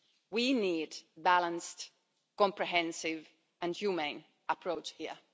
We need a balanced, comprehensive and humane approach